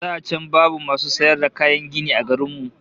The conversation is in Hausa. Da can babu masu sayar da kayan gini a garin mu